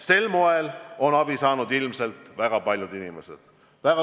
Sel moel on abi saanud ilmselt väga paljud inimesed.